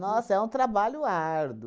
Nossa, é um trabalho árduo.